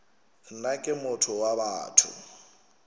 nna ke motho wa batho